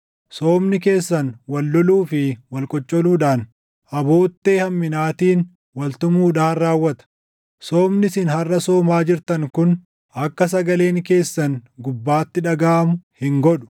Soomni keessan wal loluu fi wal qoccoluudhaan, aboottee hamminaatiin wal tumuudhaan raawwata. Soomni isin harʼa soomaa jirtan kun, akka sagaleen keessan gubbaatti dhagaʼamu hin godhu.